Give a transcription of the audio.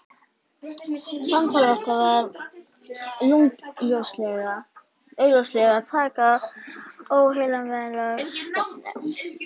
Samtal okkar var augljóslega að taka óheillavænlega stefnu.